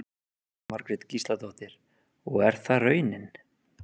Jóhanna Margrét Gísladóttir: Og er það raunin?